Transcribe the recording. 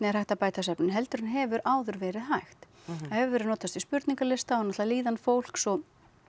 er hægt að bæta svefninn heldur en hefur áður verið hægt það hefur verið notast við spurningalista og náttúrulega líðan fólks og